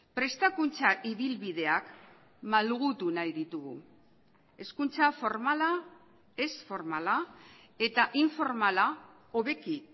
prestakuntza ibilbideak malgutu nahi ditugu hezkuntza formala ez formala eta informala hobeki